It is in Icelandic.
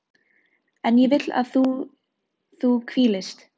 En ég vil að þú hvílist.